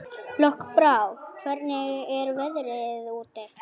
Lokbrá, hvernig er veðrið úti?